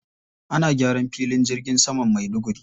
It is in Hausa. Ana gyaran filin jirgin saman Maiduguri.